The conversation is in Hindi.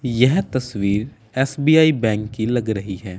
यह तस्वीर एस_बी_आई बैंक की लग रही है।